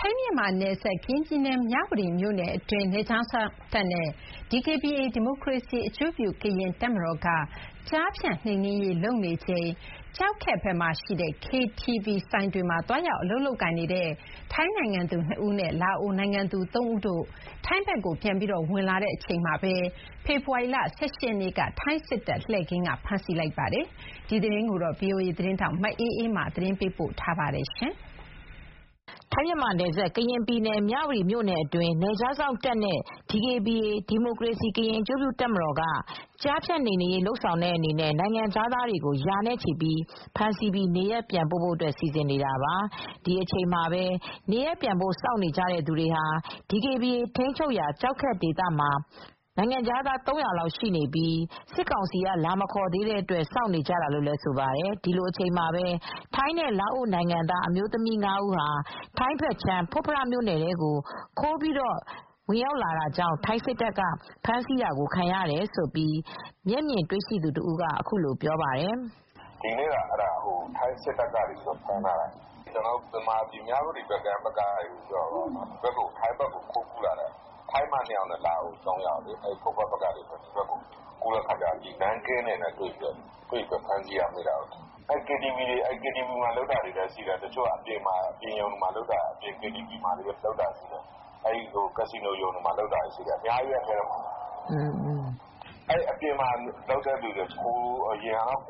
ထိုင်း-မြန်မာနယ်စပ် ကရင်ပြည်နယ်၊ မြဝတီမြို့နယ်အတွင်း နယ်ခြားစောင့်နဲ့ DKBA ဒီမိုကရေစီအကျိုးပြု ကရင်တပ်မတော်က ကျားဖြန့်နှိမ်နင်းရေး လုပ်ဆောင်နေချိန်မှာ ကျောက်ခက်ဘက်မှာရှိတဲ့ KTV ဆိုင်တွေမှာ သွားရောက် အလုပ်လုပ်ကိုင်နေတဲ့ ထိုင်းနိုင်ငံသူ ၂ ဦးနဲ့ လာအိုနိုင်ငံသူ ၃ ဦးတို့ဟာ ထိုင်းဘက်ကို ပြန်ပြီးခိုးဝင်လာတုန်း ဖေဖေါ်ဝါရီလ ၁၈ ရက်နေ့မှာ ထိုင်းစစ်တပ်ရဲ့လှည့်ကင်းက ဖမ်းဆီးလိုက်ပါတယ်။ ဒီသတင်းကို ဗွီအိုအေသတင်းထောက် မအေးအေးမာကသတင်းပေးပို့ထားပါတယ်။ ထိုင်း-မြန်မာနယ်စပ်၊ ကရင်ပြည်နယ်၊ မြဝတီမြို့နယ်အတွင်း နယ်ခြားစောင့်နဲ့ DKBA ဒီမိုကရေစီအကျိုးပြု ကရင်တပ်မတော်က ကျားဖြန့် နှိမ်နင်းရေး လုပ်ဆောင်တဲ့အနေနဲ့ နိုင်ငံခြားသားတွေကို ရာနဲ့ချီဖမ်းဆီးပြီး နေရပ်ပြန်ပို့ဖို့ စီစဉ်နေတာပါ။ DKBA ထိန်းချုပ်ရာ ကျောက်ခက်ဒေသမှာ နေရပ်ပြန်ဖို့ စောင့်နေကြတဲ့ နိုင်ငံခြားသာ ၃၀၀ လောက်ရှိနေပြီး စစ်ကောင်စီက လာမခေါ်သေးတဲ့အတွက် စောင့်နေကြတာလို့ ဆိုပါတယ်။ ဒီလိုအချိန်မှာပဲ ထိုင်းနဲ့ လာအိုနိုင်ငံသူ အမျိုးသမီး ၅ ဦးဟာ ထိုင်းဘက်ခြမ်း ဖွတ်ဖရမြို့နယ်ထဲကို ခိုးပြီး ဝင်ရောက်လာတာကြောင့် ထိုင်းစစ်တပ်က ဖမ်းဆီးတာကိုခံရတယ်လို့ မျက်မြင်တွေ့ရသူတဦးက ပြောပါတယ်။ "ဒီနေ့က ထိုင်းစစ်တပ်ကဖမ်းမိတာပါ။ မြ၀တီဘက်ကနေ ခိုးကူးလာတဲ့ ထိုင်းမ ၂ ယောက်နဲ့ လာအိုအမျိုးသမီး ၃ ယောက် ထိုင်းစစ်တပ်ရဲ့ ကင်းနဲ့တိုးပြီ းဖမ်းမိတာပါ။ သူတို့က KTV တွေမှာ လုပ်တာရှိတယ်၊ အပြင်ရုံတွေမှာ လုပ်တာတွေ၊ ကာစီနိုတွေမှာ လုပ်တာတွေ အများကြီးပဲ၊ အဲဒီမှာ အပြင်မှာလုပ်တဲ့သူတွေ ခိုး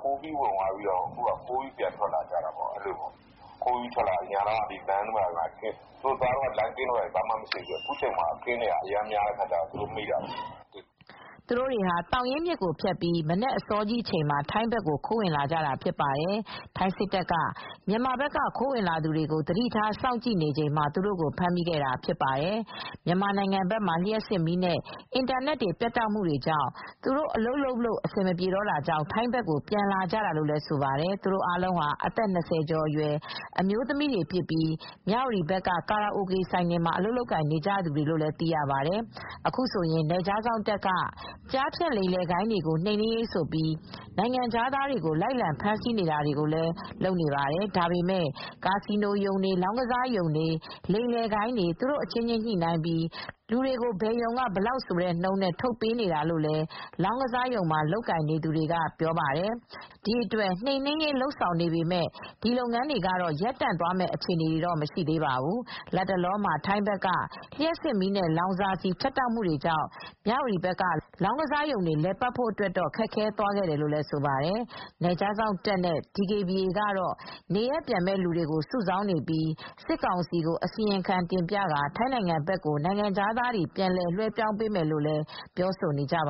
ကူးပြီး ဝင်သွားပြီးတော့ ခိုးပြီး ပြန်ဝင်လာကြတာပါ၊ အရင် သူတို့သွားတုန်းကတော့ လမ်းက ဘာမှမရှိပေမယ့် အခုက လမ်းက လှည့်ကင်းတွေ အများကြီးရှိတော့ သူတို့မိကြတာပါ။" သူတို့တွေဟာ သောင်ရင်းမြစ်ကိုဖြတ်ပြီး မနက်အစောကြီးအချိန်မှ ာထိုင်းဘက်ကို ခိုးဝင်လာကြတာဖြစ်ပါတယ်။ ထိုင်းစစ်တပ်က မြန်မာဘက်က ခိုးဝင်လာသူတွေကို သတိထား စောင့်ကြည့်နေချိန်မှာ သူတို့ကိုဖမ်းမိခဲ့တာဖြစ်ပါတယ်။ မြန်မာနိင်ငံဘက်မှ ာလျှပ်စစ်မီးနဲ့ အင်တာနက်တွေ ပြတ်တောက်မှုကြောင့် သူတို့ အလုပ်လုပ်လို့ အဆင်မပြေတာကြောင့် ထိုင်းဘက်ကို ပြန်လာကြတာလို့ ဆိုပါတယ် ။ သူတို့အားလုံးဟာ အသက် ၂၀ ကျော်အရွယ် အမျိုးသမီးတွေဖြစ်ပြီး မြ၀တီဘက်က ကာရာအိုကေဆိုင်တွေမှာ အလုပ်လုပ်နေကြသူတွေလို့လည်းသိရပါတယ်။ အခုဆိုရင် BGF နယ်ခြားစောင့်တပ်က ကျားဖြန့် လိမ်လည်ဂိုဏ်းတွေကို နှိမ်နင်းရေးဆိုပြီး နိုင်ငံခြားသားတွေကို လိုက်လံ ဖမ်းဆီးနေတယ်လို့ ဆိုပါတယ်။ ဒါပေမယ့် ကာစီနိုရုံတွေ၊ လောင်းကစားရုံတွေ၊ လိမ်လည်ဂိုဏ်းတွေ သူတို့အချင်းချင်းညှိနှိုင်းပြီး လူတွေကို ဘယ်ရုံက ဘယ်လောက်ဆိုတဲ့နှုန်းနဲ့ ထုတ်ပေးနေတာလို့လည်း လောင်းကစားရုံမှ ာလုပ်ကိုင်နေသူတွေကပြောပါတယ်။ ဒီအတွက် နှိမ်နင်းရေး လုပ်ဆောင်နေပေမယ့် ဒီလုပ်ငန်းတွေကတော့ ရပ်တန့်သွားမယ့်အခြေအနေ မရှိသေးပါဘူး။ လတ်တလောမှာ ထိုင်းဘက်က လျှပ်စစ်မီးနဲ့ လောင်စာဆီ ဖြတ်တောက်မှုကြောင့် မြ၀တီဘက်က လောင်းကစားရုံတွေ လည်ပတ်ဖို့အတွက်တော့ ခက်ခဲသွားခဲ့တယ်လို့ ဆိုပါတယ်။ နယ်ခြားစောင့်တပ်နဲ့ DKBA ကတော့ နေရပ်ပြန်မယ့်လူတွေ စုဆောင်းနေပြီး စစ်ကောင်စီကိုအစီရင်ခံတင်ပြကာ ထိုင်းနိုင်ငံဘက်ကို နိုင်ငံခြားသားတွေ ပြန်လွှဲပြောင်းပေးမယ်လို့လည်း ပြောဆိုနေပါ